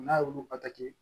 N'a y'olu bato